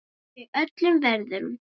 Og það í öllum veðrum.